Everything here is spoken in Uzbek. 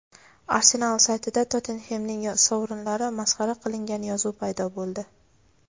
"Arsenal" saytida "Tottenhem"ning sovrinlari masxara qilingan yozuv paydo bo‘ldi.